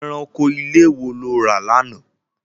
Ẹranko ilé wo lo rà lánàá?